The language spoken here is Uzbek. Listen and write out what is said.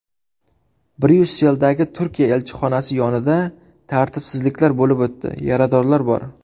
Bryusseldagi Turkiya elchixonasi yonida tartibsizliklar bo‘lib o‘tdi, yaradorlar bor.